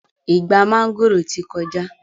Ìgbà mángòrò ti kọjá